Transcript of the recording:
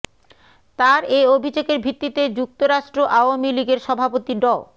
তার এ অভিযোগের ভিত্তিতে যুক্তরাষ্ট্র আওয়ামী লীগের সভাপতি ড